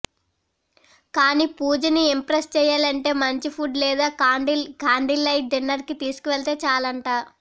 కానీ పూజని ఇంప్రెస్స్ చెయ్యాలంటే మంచి ఫుడ్ లేదా కాండిల్ లైట్ డిన్నర్కి తీసుకువెళ్తే చాలంట